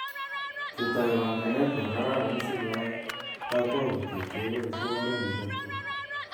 Ketoi panganet nekararan si keai kakwautiet keboishe oret ne chepchep